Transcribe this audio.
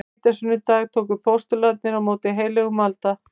Á hvítasunnudag tóku postularnir á móti heilögum anda.